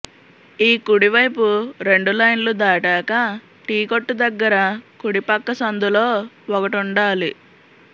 ఈ కుడివైపు రెండు లైన్లు దాటాక టీకొట్టు దగ్గర కుడిపక్క సందులో ఒకటుండాలి